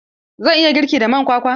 Zan iya girki da man kwakwa?